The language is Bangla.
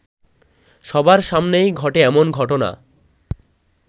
সবার সামনেই ঘটে এমন ঘটনা